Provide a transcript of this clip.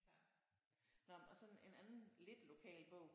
Nå og så en anden lidt lokal bog